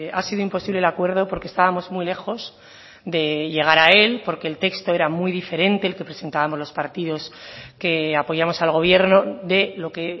ha sido imposible el acuerdo porque estábamos muy lejos de llegar a él porque el texto era muy diferente el que presentábamos los partidos que apoyamos al gobierno de lo que